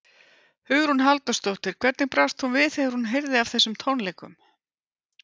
Hugrún Halldórsdóttir: Hvernig brást hún við þegar hún heyrði af þessum tónleikum?